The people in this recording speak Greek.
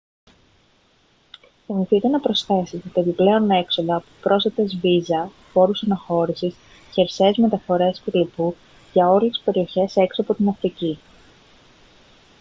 θυμηθείτε να προσθέσετε τα επιπλέον έξοδα από πρόσθετες βίζα φόρους αναχώρησης χερσαίες μεταφορές κ.λπ. για όλες τις περιοχές έξω από την αφρική